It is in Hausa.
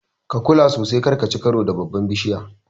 Ka kula sosai kar kaci karo da babbar bishiyar.